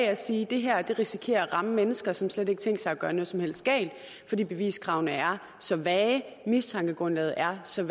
at sige at det her risikerer at ramme mennesker som slet ikke har tænkt sig at gøre noget som helst galt fordi beviskravene er så vage mistankegrundlaget er så